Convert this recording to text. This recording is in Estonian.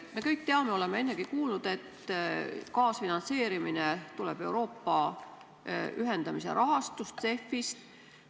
Me kõik teame, oleme ennegi kuulnud, et kaasfinantseerimine tuleb Euroopa ühendamise rahastust, CEF-ist.